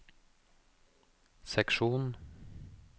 seksjon